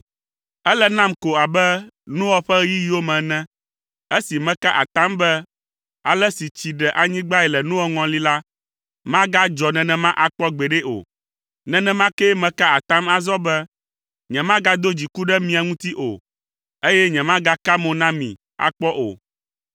“Ele nam ko abe Noa ƒe ɣeyiɣiwo me ene, esi meka atam be ale si tsi ɖe anyigbae le Noa ŋɔli la, magadzɔ nenema akpɔ gbeɖe o. Nenema kee meka atam azɔ be nyemagado dziku ɖe mia ŋuti o eye nyemagaka mo na mi akpɔ o.